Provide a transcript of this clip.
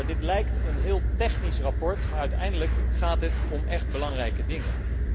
Dit lijkt een heel technisch rapport maar uiteindelijk gaat het om echt belangrijke dingen.